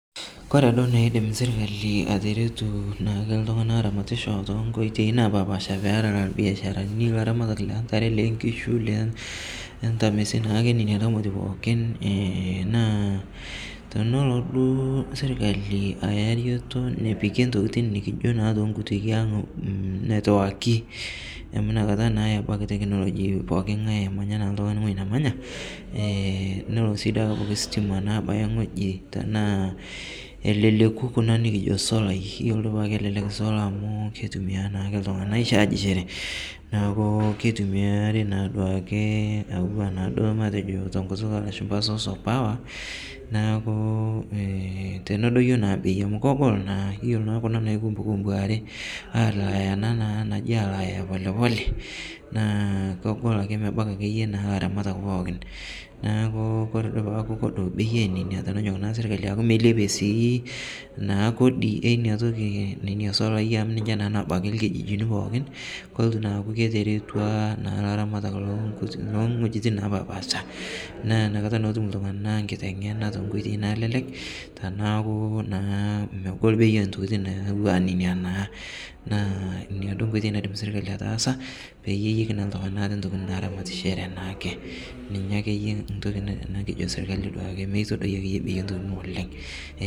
Ore enidim sirkali ataretu iltung'ana oramatisho too nkoitoi napashipasha too biasharani wee ramatare oo nkishu entare ontamesi naa tenaduo sirkali nepik netiwaki amu ena naywaua tekinoloji emanya oltung'ani enemanya nelo ositima abaya ewueji tenaa keleleku Kuna solai amu kitumia iltung'ana aichajishore neeku kitumiari duake enaa source of power tenedoyio bei amu kegol naa keyieu naa alaya polepole naa kegol ake mebaiki elaramatak pookin tenilepie sii sirkali Kodi ena toki enena solai amu ninche nabaiki ewuejitin pookin naa kelotu akuu atareto elaramatak loo wuejitin napashipasha naa enakata etum iltung'ana enkiteng'ena too nkoitoi nalelek tenekuu megol bei oo ntokitin naa entoki naidim sirkali ataasa pee etum iltung'ana entoki naramatishore ena entoki kijoki sirkali mitadoi bei oo ntokitin oleng